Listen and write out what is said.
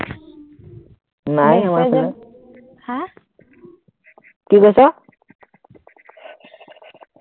কি কৈছ,